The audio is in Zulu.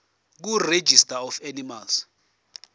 kuregistrar of animals